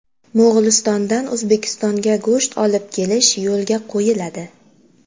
Mo‘g‘ulistondan O‘zbekistonga go‘sht olib kelish yo‘lga qo‘yiladi.